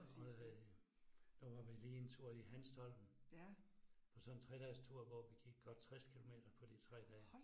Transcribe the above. Og øh der var vi lige en tur i Hanstholm og så en 3 dages tur, hvor vi gik godt 60 kilometer på de 3 dage